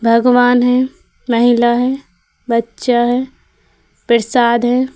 भगवान है महिला है बच्चा है प्रसाद है ।